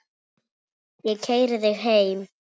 Ég keyri þig heim.